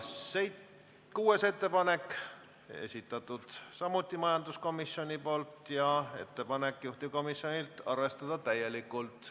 Kuuenda ettepaneku on samuti esitanud majanduskomisjon ja juhtivkomisjon soovitab sedagi arvestada täielikult.